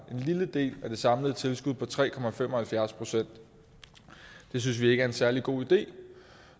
lille del af det samlede tilskud på tre procent det synes vi ikke er en særlig god idé